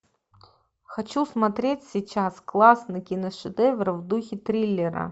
хочу смотреть сейчас классный киношедевр в духе триллера